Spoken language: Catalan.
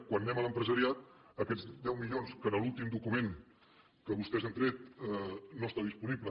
quan anem a l’empresariat aquests deu milions que en l’últim document que vostès han tret no està disponible